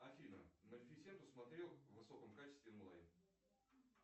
афина малефисенту смотрел в высоком качестве онлайн